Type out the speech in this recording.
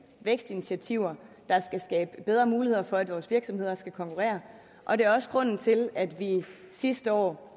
vækstinitiativer der skal skabe bedre muligheder for at vores virksomheder skal konkurrere og det er også grunden til at vi sidste år